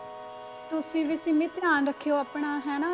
ਤੁਸੀਂ ਵੀ ਸਿੰਮੀ ਧਿਆਨ ਰੱਖਿਓ ਆਪਣਾ ਹਨਾ